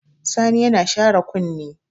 Sani yana share kunni.